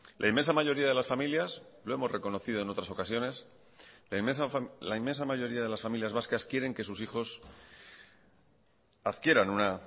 la inmensa mayoría de las familias lo hemos reconocido en otras ocasiones la inmensa mayoría de las familias vascas quieren que sus hijos adquieran una